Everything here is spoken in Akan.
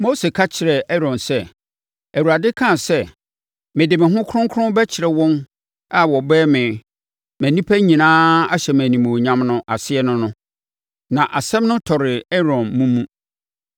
Mose ka kyerɛɛ Aaron sɛ, “ Awurade kaa sɛ, “ ‘Mede me ho kronkron bɛkyerɛ wɔn a wɔbɛn me na nnipa nyinaa ahyɛ me animuonyam no, aseɛ ne no.’” Na asɛm no tɔree Aaron mumu.